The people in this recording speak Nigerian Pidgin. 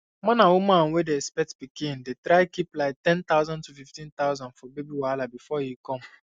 man and woman wey dey expect pikin dey try keep like ten thousand to fif ten thousand for baby wahala before e come